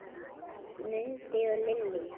Mundi og Lillý.